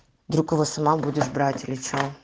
другого сама будешь брать или что